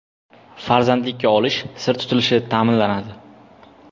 Farzandlikka olish sir tutilishi ta’minlanadi.